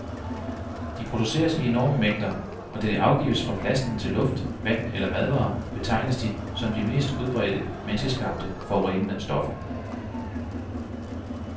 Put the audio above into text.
De produceres i enorme mængder, og da de afgives fra plasten til luft, vand eller madvarer, betegnes de som de mest udbredte menneskeskabte forurenende stoffer.